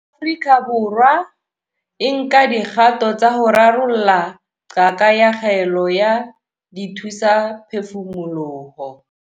Afrika Borwa e nka dikgato tsa ho rarolla qaka ya kgaello ya dithusaphefumoloho.